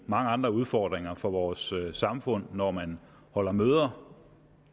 mange andre udfordringer for vores samfund når man holder møder